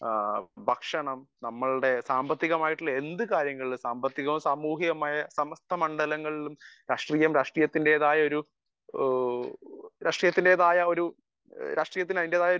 speaker 1 ഭക്ഷണം നമ്മളുടെ സാമ്പത്തികമായിട്ടുള്ള എന്ത് കാര്യങ്ങളിലും സാമ്പത്തികവും സാമൂഹ്യവുമായ സർവ്വ മണ്ഡലങ്ങളിലും രാഷ്ട്രീയം രാഷ്ട്രീയത്തിന്റേതായ ഒരു അതിന്റെതായ ഒരു